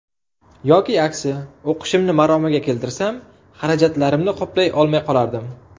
Yoki aksi, o‘qishimni maromiga keltirsam, xarajatlarimni qoplay olmay qolardim.